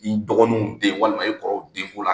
N'i dɔgɔninw den walima e kɔrɔw den ko la,